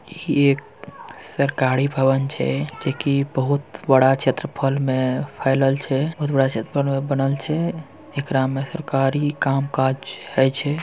ये एक सरकारी भवन छे जे की बहुत बड़ा छेत्र्फल में फैलल छे बहुत बड़ा छेत्र्फहल में बनल छे एकरा में सरकारी काम काज होइ छे।